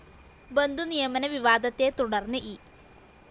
ബന്ധുനിയമന വിവാദത്തെ തുടര്‍ന്ന് ഇ